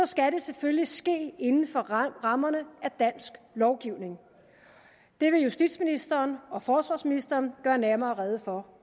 skal det selvfølgelig ske inden for rammerne af dansk lovgivning det vil justitsministeren og forsvarsministeren gøre nærmere rede for